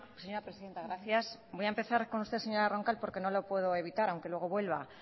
señora presidenta gracias voy a empezar con usted señora roncal porque no lo puedo evitar aunque luego vuelva